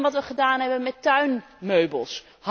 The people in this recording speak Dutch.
Denk aan wat wij gedaan hebben met tuinmeubels.